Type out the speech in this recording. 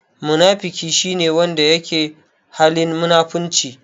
Munafiki shi ne wanda yake halin munafurci.